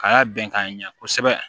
Ka y'a bɛn k'a ɲɛ kosɛbɛ